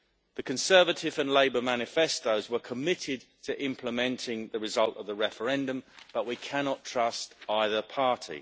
The Conservative and Labour manifestos were committed to implementing the result of the referendum but we cannot trust either party.